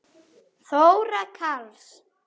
Þóra Karls.